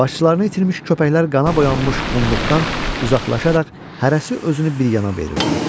Başçılarını itirmiş köpəklər qana boyanmış qumluqdan uzaqlaşaraq hərəsi özünü bir yana verirdi.